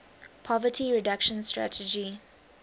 poverty reduction strategy